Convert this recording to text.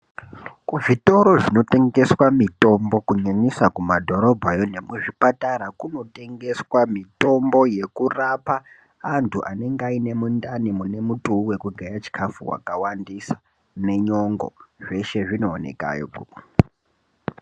Kuzvitoro zvinotengeswa mutombo kunyanyisa kumadhorobhayo nemuzvipatara kunotengeswe mitombo yekurapa antu anenga aine mundani mune mutuu wekugaya chikafu wakawandisa nenyongo zveshe zvinoonekayo kwona kwokwo.